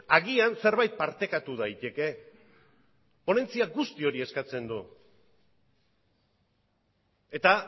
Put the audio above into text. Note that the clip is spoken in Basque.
agian zerbait partekatu daiteke ponentzia guzti hori eskatzen du eta